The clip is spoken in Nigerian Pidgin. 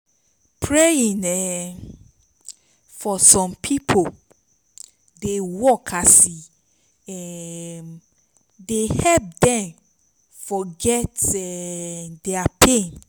praying um for som pipo dey work as e um dey help dem forget um dia pain